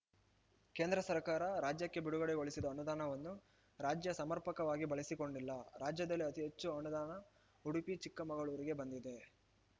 ಕೇಂದ್ರ ಸರಕಾರ ರಾಜ್ಯಕ್ಕೆ ಬಿಡುಗಡೆಗೊಳಿಸಿದ ಅನುದಾನವನ್ನು ರಾಜ್ಯ ಸಮರ್ಪಕವಾಗಿ ಬಳಸಿಕೊಂಡಿಲ್ಲ ರಾಜ್ಯದಲ್ಲಿ ಅತಿ ಹೆಚ್ಚು ಅನುದಾನ ಉಡುಪಿ ಚಿಕ್ಕಮಗಳೂರಿಗೆ ಬಂದಿದೆ